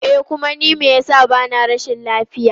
E kuma ni me yasa bana rashin lafiya.